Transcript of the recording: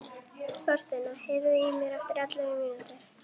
Þorsteina, heyrðu í mér eftir ellefu mínútur.